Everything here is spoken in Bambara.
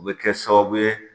U bɛ kɛ sababu ye